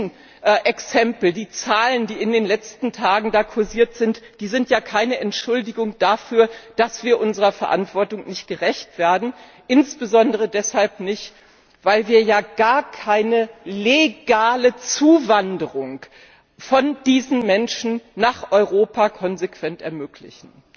Die Rechenexempel, die Zahlen, die in den letzten Tagen da kursiert sind, sind ja keine Entschuldigung dafür, dass wir unserer Verantwortung nicht gerecht werden insbesondere deshalb nicht, weil wir ja gar keine legale Zuwanderung dieser Menschen nach Europa konsequent ermöglichen.